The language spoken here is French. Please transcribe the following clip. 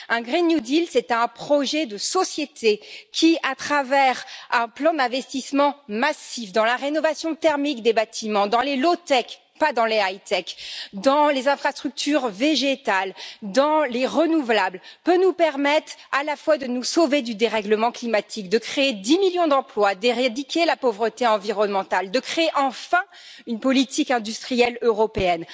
Un Green New Deal c'est un projet de société qui, à travers un plan d'investissement massif dans la rénovation thermique des bâtiments dans les low tech pas dans les high tech dans les infrastructures végétales, dans les renouvelables, peut nous permettre à la fois de nous sauver du dérèglement climatique, de créer 10 millions d'emplois, d'éradiquer la pauvreté environnementale et de créer enfin une politique industrielle européenne.